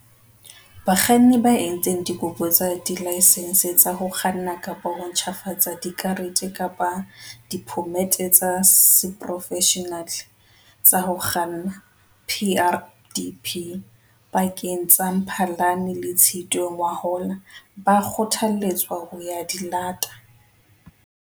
Bakganni ba entseng dikopo tsa dilaesense tsa ho kganna kapa ho ntjhafatsa dikarete kapa diphomete tsa seporofeshenale tsa ho kganna, PrDP, pakeng tsa Mphalane le Tshitwe ngwahola ba kgothaletswa ho ya di lata.